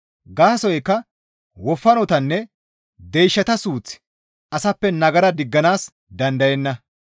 Gaasoykka wofanotanne deyshata suuththi asappe nagara digganaas dandayenna.